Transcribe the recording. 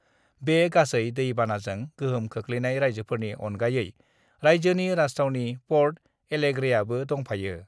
बे गासै दै बानाजों गोहोम गोग्लैनाय राइज्योफोरनि अनगायै राइज्योनि राजथावनि पर्ट एलेग्रे आबो दंफायो।